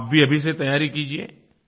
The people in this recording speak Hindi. आप भी अभी से तैयारी कीजिये